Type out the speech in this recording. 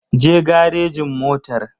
Je garejin motar!